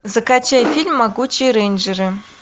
закачай фильм могучие рейнджеры